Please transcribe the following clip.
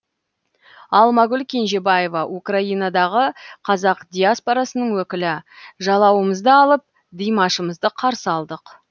алмагүл кенжебаева украинадағы қазақ диаспорасының өкілі жалауымызды алып димашымызды қарсы алдық